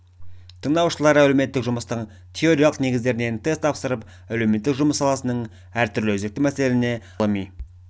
тыңдаушылар әлеуметтік жұмыстың теориялық негіздерінен тест тапсырып әлеуметтік жұмыс саласының әртүрлі өзекті мәселелеріне арналған тақырыптардан ғылыми